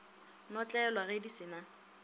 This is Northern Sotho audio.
notlelwa ge di se na